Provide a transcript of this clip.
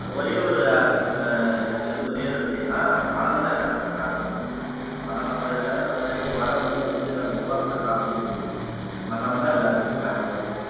ஒரே ஒரு and இதுக்கு வந்து ஒரே ஒரு விடைதான் பணம்தான் எல்லாத்துக்கும் காரணம் கௌரி பணம் சம்பாதிச்சாவது இந்த உலகத்திலேயே வாழ முடியும் அப்படீன்னு உருவாக்கின காலம் இது பணம்தான் எல்லாத்துக்கும் காரணம் கௌரி இதுக்கு ஒரே ஒரு விடைதான் வேற எதுவும் இல்லை